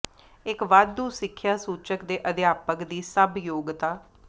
ਇੱਕ ਵਾਧੂ ਸਿੱਖਿਆ ਸੂਚਕ ਦੇ ਅਧਿਆਪਕ ਦੀ ਸਭ ਯੋਗਤਾ